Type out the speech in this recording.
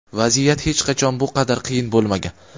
Vaziyat hech qachon bu qadar qiyin bo‘lmagan.